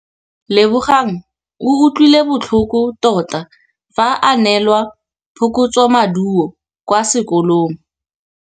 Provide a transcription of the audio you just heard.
Lebogang o utlwile botlhoko tota fa a neelwa phokotsômaduô kwa sekolong.